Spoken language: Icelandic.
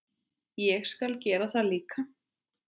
Ég skal gera það líka.